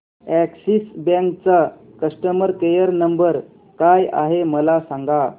Axis bank चा customer care number काय आहे मला सांगा